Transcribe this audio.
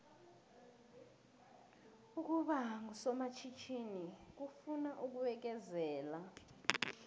ukuba ngusomatjhithini kufuna ukubekezela